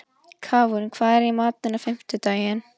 Káinn, hvað er í matinn á fimmtudaginn?